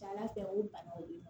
Ca ala fɛ o ye banaw de ye